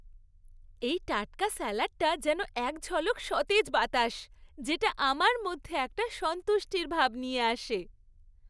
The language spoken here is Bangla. এই টাটকা স্যালাডটা যেন এক ঝলক সতেজ বাতাস, যেটা আমার মধ্যে একটা সন্তুষ্টির ভাব নিয়ে আসে।